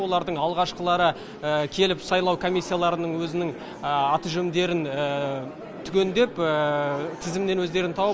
олардың алғашқылары келіп сайлау комиссияларының өзінің аты жөндерін түгендеп тізімнен өздерін тауып